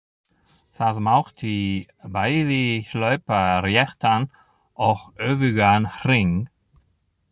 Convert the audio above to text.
Það mátti bæði hlaupa réttan og öfugan hring.